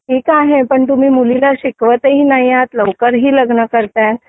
ठीक आहे पण तुम्ही मुलींना शिकवत ही नाही आहात लवकरही लग्न करताय